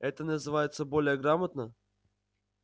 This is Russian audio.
и это называется более грамотно